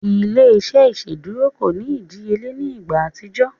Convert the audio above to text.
Ile-iṣẹ iṣeduro ko ni idiyele ni igba atijọ.